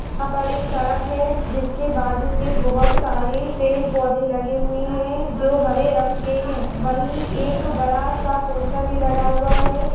यहाँ पर एक सड़क हैं जिसके बाजू में बहुत सारे पेड़-पौधे लगे हुए हैं जो हरे रंग के हैं वही एक बड़ा-सा पोस्टर भी लगा हुआ है।